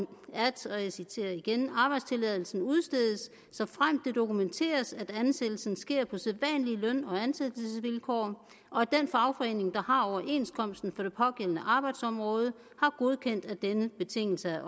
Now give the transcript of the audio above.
arbejdstilladelsen udstedes såfremt det dokumenteres at ansættelsen sker på sædvanlige løn og ansættelsesvilkår og at den fagforening der har overenskomsten for det pågældende arbejdsområde har godkendt at denne betingelse er